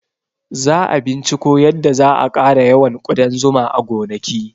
Za a binciko yadda za a ƙara yawan ƙudan zuma a gonaki